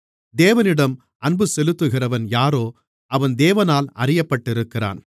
தேவனிடம் அன்புசெலுத்துகிறவன் யாரோ அவன் தேவனால் அறியப்பட்டிருக்கிறான்